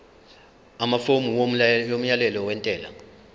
amafomu omyalelo wentela